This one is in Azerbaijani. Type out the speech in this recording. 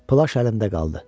Plaş əlimdə qaldı.